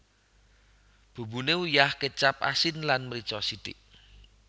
Bumbune uyah kecap asin lan mrica sithik